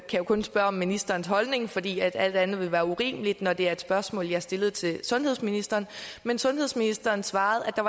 jeg kun spørge om ministerens holdning fordi alt andet ville være urimeligt når det er et spørgsmål jeg har stillet til sundhedsministeren men sundhedsministeren svarede at